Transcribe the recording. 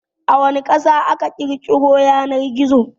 A wana Ƙasa aka ƘirƘiro Yanan-gizo?